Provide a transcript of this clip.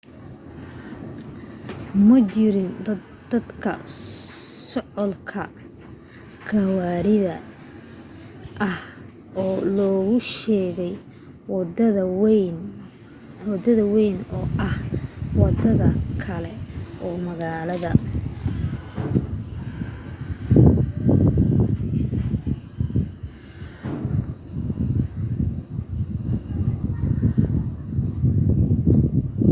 ma jirin daahdaah socdaalka gawaarida ah oo lagu sheegay wadada wayn oo ah wadada kale oo magaalada